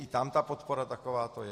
I tam ta podpora takováto je.